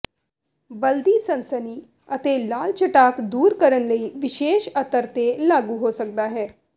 ਬਲਦੀ ਸਨਸਨੀ ਅਤੇ ਲਾਲ ਚਟਾਕ ਦੂਰ ਕਰਨ ਲਈ ਵਿਸ਼ੇਸ਼ ਅਤਰ ਤੇ ਲਾਗੂ ਹੋ ਸਕਦਾ ਹੈ